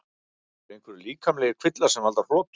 Eru einhverjir líkamlegir kvillar sem valda hrotum?